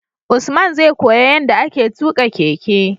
Usman zai koya yanda ake tuka keke